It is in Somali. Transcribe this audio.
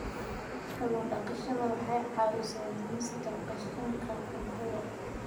Kallun daqashada waxay caawisaa dhimista qashinka cuntada.